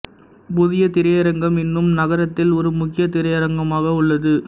புதிய திரையரங்கம் இன்னும் நகரத்தில் ஒரு முக்கியத் திரையரங்கமாக உள்ளது